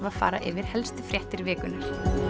að fara yfir helstu fréttir vikunnar